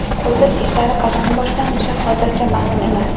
Qurilish ishlari qachon boshlanishi hozircha ma’lum emas.